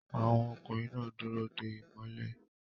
Àwọn ọkùnrin náà dúró de ìmọ́lẹ̀